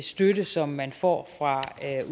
støtte som man får fra